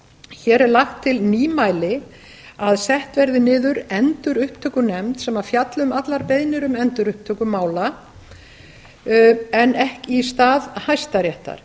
hér er lagt til nýmæli að sett verði niður endurupptökunefnd sem fjalli um allar beiðnir um endurupptöku mála í stað hæstaréttar